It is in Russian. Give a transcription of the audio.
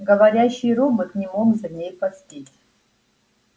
говорящий робот не мог за ней поспеть